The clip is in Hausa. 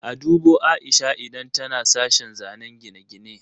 A dubo Aisha idan tana sashen zanen gine-gine.